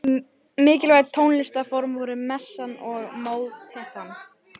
Mikilvæg tónlistarform voru messan og mótettan.